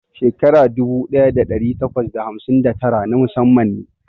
Shekara dubu ɗaya ɗari takwas da hamsin da tara na musamman ne.